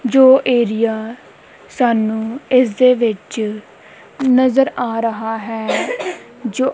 ਜੋ ਏਰੀਆ ਸਾਨੂੰ ਇਸ ਦੇ ਵਿੱਚ ਨਜ਼ਰ ਆ ਰਹਾ ਹੈ ਜੋ--